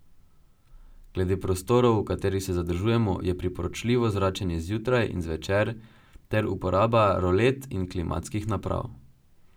Glede prostorov, v katerih se zadržujemo, je priporočljivo zračenje zjutraj in zvečer ter uporaba rolet in klimatskih naprav.